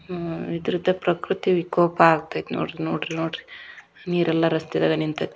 ಹೂ ಇದರದ ಪ್ರಕೃತಿ ವಿಕೋಪ ಆಗತೇತ ನೋಡ್ರಿ ನೋಡ್ರಿ ನೀರೆಲ್ಲ ರಸ್ತೆದಾಗ ನಿಂತೇತಿ.